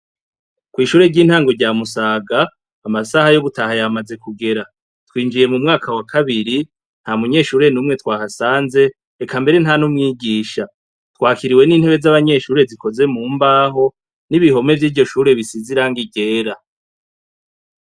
Kw'ishure ry'intango rya musaga amasaha yo gutaha yamaze kugera ,twinjiye mu mwaka wa kabiri, nta munyeshuri numwe twahasanze, eka mbere nta n'umwigisha twakiriwe n'intebe zikozwe mu mbaho, n'ibohome vy'iryo shure bisize irangi ryera.